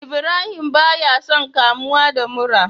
Ibrahim baya son kamuwa da mura